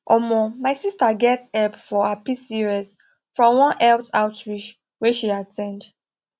omo my sister get help for her pcos from one health outreach wey she at ten d